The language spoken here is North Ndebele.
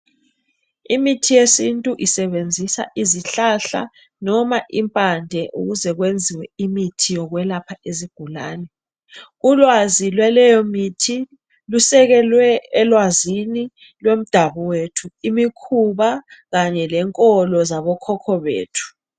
Imithi yesintu isebenzisa izihlahla loba impande ukuze kwenziwe imithi yokwelapha izigulane. Ulwazi lwaleyo mithi lusekelwe elwazini lwemdabuko yethu imikhuba kanye lenkolo zabo khokho bethu.